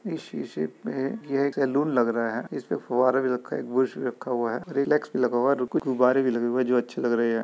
इस में यह एक लग रहा है इसमें फुहारे भी रखा बुरस भी रखा हुआ है। रीलैक्स भी लगा हुआ है और कुछ गुब्बारे भी लगे हुए हैं जो अच्छे लग रहे हैं।